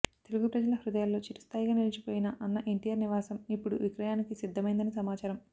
తెలుగు ప్రజల హృదయాల్లో చిరస్థాయిగా నిలిచిపోయిన అన్న ఎన్టీఆర్ నివాసం ఇప్పుడు విక్రయానికి సిద్ధమైందని సమాచారం